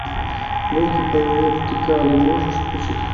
гонки по вертикали можешь включить